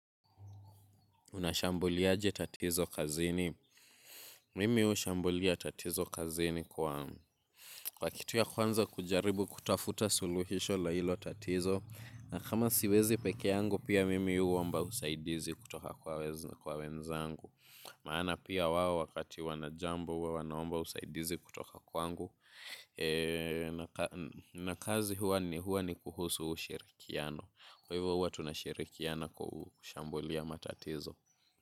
Unashambuliaje tatizo kazini. Mimi huashambulia tatizo kazini kwa kitu ya kwanza kujaribu kutafuta suluhisho la hilo tatizo. Na kama siwezi peke yangu pia mimi huomba usaidizi kutoka kwa wenzangu. Maana pia wao wakati wana jambo huwa wanaomba usaidizi kutoka kwangu. Na kazi huwa ni huwa ni kuhusu ushirikiano. Kwa hivyo huwa tunashirikiana kwa kushambulia matatizo.